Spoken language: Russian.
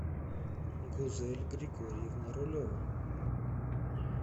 гузель григорьевна рулева